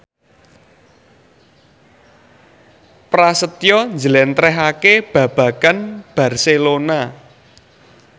Prasetyo njlentrehake babagan Barcelona